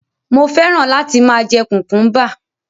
Mo fẹ́ràn láti máa jẹ kùkúḿbà.